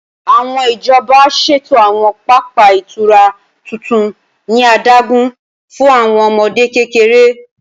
Awọn ijọba ṣeto awọn papa itura tuntun ni adagun fun awọn ọmọde kekere.